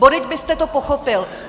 Bodejť byste to pochopil!